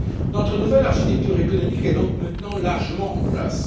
Notre nouvelle architecture économique est donc maintenant largement en place.